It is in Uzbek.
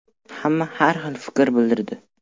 Hamma har xil fikr bildirdi.